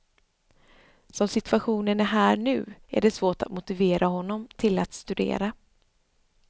Som situationen är här nu är det svårt att motivera honom till att studera.